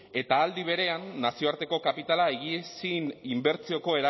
eta aldi berean nazioarteko kapitala higiezin inbertsioko